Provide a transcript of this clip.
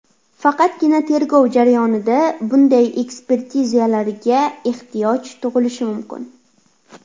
Faqatgina tergov jarayonida bunday ekspertizalarga ehtiyoj tug‘ilishi mumkin.